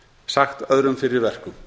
sagt öðrum fyrir verkum